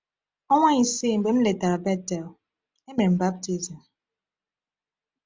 Ọnwa isii mgbe m letara Bethel, e mere m baptizim.